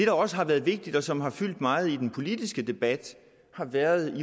også har været vigtigt og som har fyldt meget i den politiske debat har været